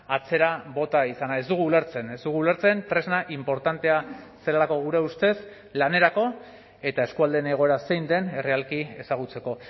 atzera bota izana ez dugu ulertzen ez dugu ulertzen tresna inportantea zelako gure ustez lanerako eta eskualdeen egoera zein den errealki ezagutzeko